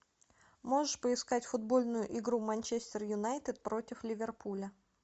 можешь поискать футбольную игру манчестер юнайтед против ливерпуля